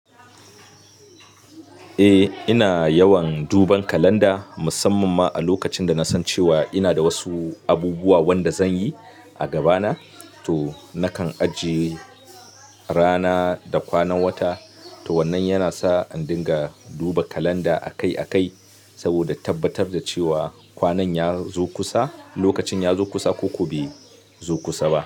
Eh, ina yawan duban kalanda musamman ma a lokacin da na san cewa ina da wasu abubuwa wanda zanyi a gabana. To nakan ajiye rana da kwanan wata. To wannan yana sa in dinga duba kalanda akai akai saboda tabbatar da cewa kwanan ya zo kusa, lokacin ya zo kusa ko kuwa bai zo kusa ba.